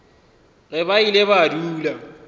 ge ba ile ba dula